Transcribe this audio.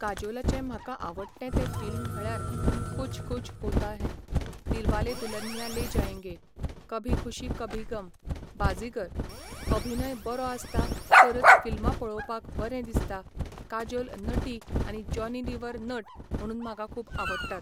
काजोलाचे म्हाका आवडटे तें फिल्म म्हळ्यार कुछ कुछ होता हैं, दिलवाले दुल्हनिया ले जायेंगे, कभी खुशी कभी गम, बाजीगर. अभिनय बरो आसता तरच फिल्मां पळोवपाक बरें दिसता काजोल नटी आनी जॉनी लिवर नट म्हणून म्हाका खूब आवडटात